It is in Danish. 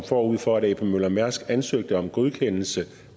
forud for at ap møller mærsk as ansøgte om godkendelse